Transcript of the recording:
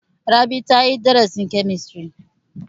Rabi ta yi darasin kemistiri.